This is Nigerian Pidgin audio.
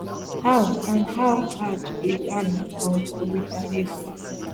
how and how hard iran um go retaliate